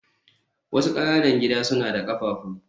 wasu ƙananan gida suna da ƙafafu